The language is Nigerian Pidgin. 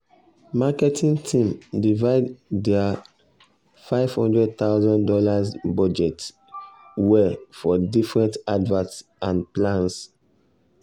marketing team divide their fifty thousand dollars0 budget well for different adverts and plans